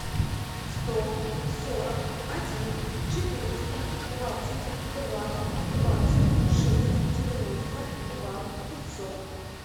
сто сорок один четыреста двадцать два двадцать шесть девяносто два пятьсот